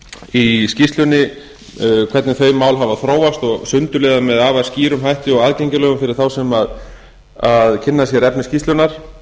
í skýrslunni hvernig þau mála hafa þróast og sundurliðað með afar skýrum hætti og aðgengilegum fyrir þá sem kynna sér efni skýrslunnar